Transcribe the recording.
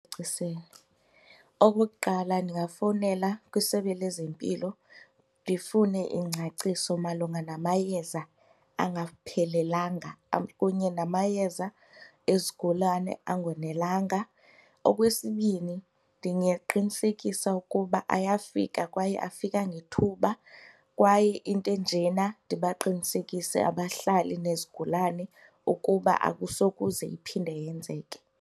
Okokuqala ndingafowunela kwiSebe lezeMpilo ndifune ingcaciso malunga namayeza angaphelelanga kunye namayeza ezigulane angonelanga. Okwesibini ndingaqinisekisa ukuba ayafika kwaye afika ngethuba kwaye into enjena ndibaqinisekise abahlali nezigulane ukuba akusokuze iphinde yenzeke.